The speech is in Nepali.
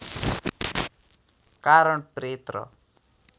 कारण प्रेत र